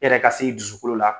Yɛrɛ ka se i dusukolo la